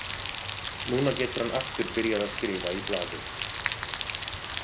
Núna getur hann aftur byrjað að skrifa í blaðið.